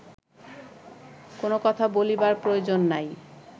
কোন কথা বলিবার প্রয়োজন নাই